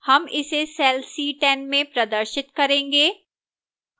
हम इसे cell c10 में प्रदर्शित करेंगे